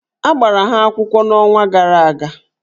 A gbara ha akwụkwọ n'ọnwa gara aga